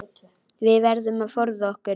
Við verðum að forða okkur.